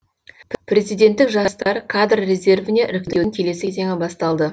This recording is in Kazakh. президенттік жастар кадр резервіне іріктеудің келесі кезеңі басталды